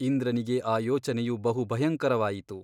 ಇಂದ್ರನಿಗೆ ಆ ಯೋಚನೆಯು ಬಹು ಭಯಂಕರವಾಯಿತು.